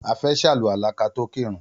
A fe sàlùwàlá ka to kírun.